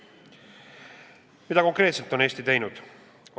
Mida konkreetselt on Eesti teinud?